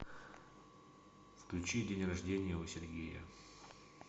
включи день рожденья у сергея